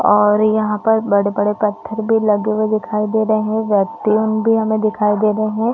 और यहाँ पर बड़े-बड़े पत्थर भी लगे हुए दिखाई दे रहे है व्यक्तियाँ भी हमे दिखाई दे रहे है ।